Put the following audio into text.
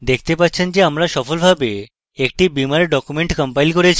দেখতে পাচ্ছেন যে আমরা সফলভাবে একটি beamer document compiled করেছি